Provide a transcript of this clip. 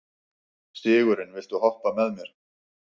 Sigurunn, viltu hoppa með mér?